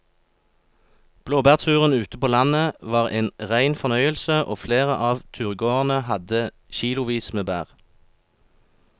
Blåbærturen ute på landet var en rein fornøyelse og flere av turgåerene hadde kilosvis med bær.